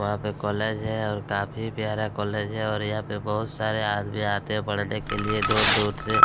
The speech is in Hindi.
वहां पे कॉलेज है और काफ़ी प्यारा कॉलेज है और यहाँ पे बहुत सारे आदमी आते हैं पढने के लिए दूर दूर से --